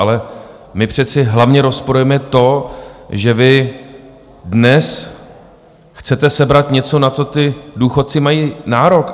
Ale my přece hlavně rozporujeme to, že vy dnes chcete sebrat něco, na co ti důchodci mají nárok.